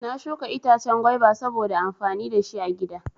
Na shuka itace gwaiba sabo amfani dashi agida